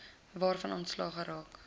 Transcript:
waarvan ontslae geraak